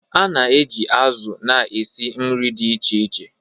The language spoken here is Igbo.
A na-eji azụ̀ na-esi nri dị iche iche.